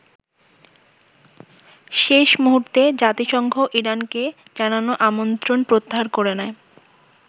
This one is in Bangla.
শেষ মূহুর্তে জাতিসংঘ ইরানকে জানানো আমন্ত্রণ প্রত্যাহার করে নেয়।